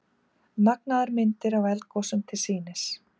Magnaðar myndir af eldgosum til sýnis